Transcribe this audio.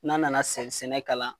N'an nana sɛ sɛnɛ kalan